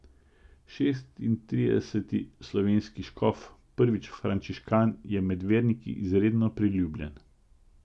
Šestintrideseti slovenski škof, prvič frančiškan, je med verniki izredno priljubljen.